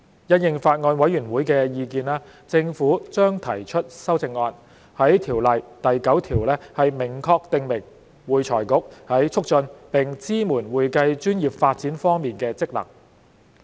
因應法案委員會的意見，政府將提出修正案，在《條例》第9條明確訂明會財局在促進並支援會計專業發展方面的職能。